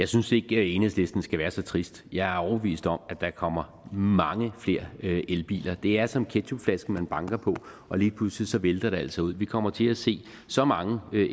synes ikke at enhedslisten skal være så trist jeg er overbevist om at der kommer mange flere elbiler det er som ketchupflasken man banker på og lige pludselig vælter det altså ud vi kommer til at se så mange